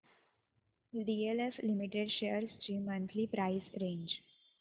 DLF limited shares ची monthly price range